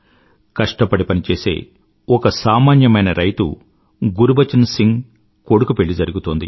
కష్టపడి పనిచేసే ఒక సామాన్యమైన రైతు గురుబచన్ సింగ్ కొడుకు పెళ్ళి జరిగుతోంది